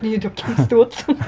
неге өйтіп кемсітіп отырсың